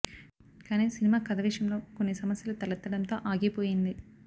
కానీ సినిమా కథ విషయంలో కొన్ని సమస్యలు తలెత్తడంతో ఆగిపోయింది